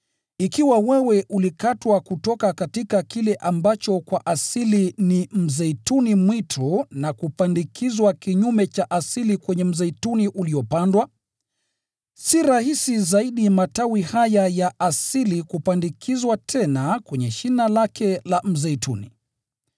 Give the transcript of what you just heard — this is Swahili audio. Ikiwa wewe ulikatwa kutoka kile ambacho kwa asili ni mzeituni mwitu na kupandikizwa kinyume cha asili kwenye mzeituni uliopandwa, si rahisi zaidi matawi haya ya asili kupandikizwa tena kwenye shina lake la mzeituni!